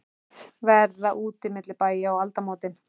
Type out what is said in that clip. Verða úti milli bæja um aldamótin?